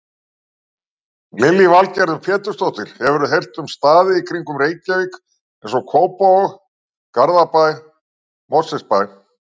Lillý Valgerður Pétursdóttir: Hefurðu heyrt um staði í kringum Reykjavík, eins og Kópavog, Garðabæ, Mosfellsbæ?